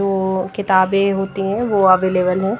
वो किताबें होती हैं वो अवेलेबल हैं।